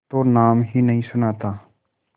तो नाम ही नहीं सुना था